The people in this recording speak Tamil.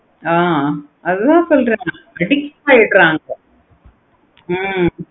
ஆஹ் அதன் சொல்ரேன் addict ஆகிடுறாங்க